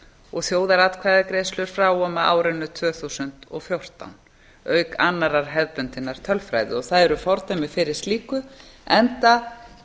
og þjóðaratkvæðagreiðslur frá og með árinu tvö þúsund og fjórtán auk annarrar hefðbundinnar tölfræði og það eru fordæmi fyrir slíku enda